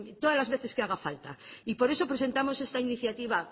todas las veces que haga falta y por eso presentamos esta iniciativa